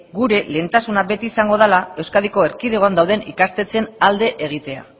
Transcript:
gure lehentasuna izango dela euskadiko erkidegoan dauden ikastetxeen alde egitea